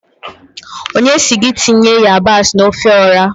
Onye si gị tinye yabasị na ofe Ọra?